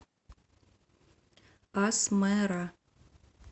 асмэра